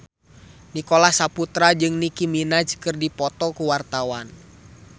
Nicholas Saputra jeung Nicky Minaj keur dipoto ku wartawan